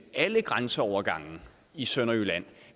alle grænseovergange i sønderjylland